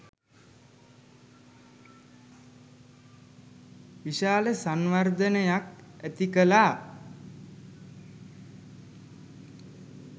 විශාල සංවර්ධනයක් ඇතිකළා.